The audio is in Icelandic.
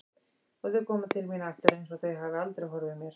Og þau koma til mín aftur einsog þau hafi aldrei horfið mér.